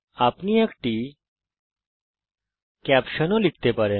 আপনি একটি ক্যাপশনশিরোনামাও লিখতে পারেন